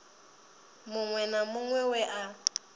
muṅwe na muṅwe we a